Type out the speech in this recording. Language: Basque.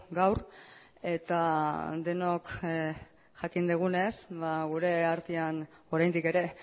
gaur eta denok jakin dugunez ba gure artean oraindik ere